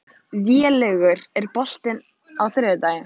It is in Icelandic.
Vélaugur, er bolti á þriðjudaginn?